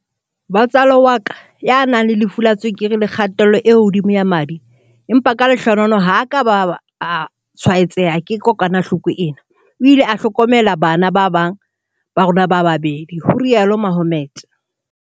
"vtsale wa ka, ya nang le lefu la tswekere le kgatello e hodimo ya madi empa ka lehlohonolo ha a ka a tshwaetseha ke kokwanahloko ena, o ile a hlokomela bana ba bang ba rona ba babedi," ho rialo Mohammed.